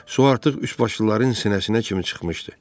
Su artıq üçbaşlıların sinəsinə kimi çıxmışdı.